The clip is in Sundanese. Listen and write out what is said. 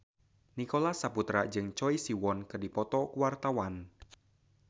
Nicholas Saputra jeung Choi Siwon keur dipoto ku wartawan